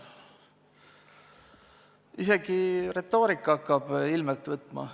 Isegi retoorika hakkab ilmet võtma.